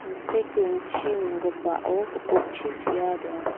rongchi nonggipao gipokchi sea donga.